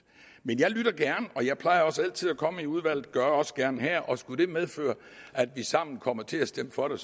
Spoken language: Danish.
men jeg lytter gerne og jeg plejer også altid at komme i udvalget det gør jeg også gerne her og skulle det medføre at vi sammen kommer til at stemme for det